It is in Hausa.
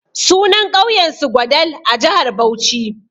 Sunan ƙauyen su Gwadal a jihar Bauchi.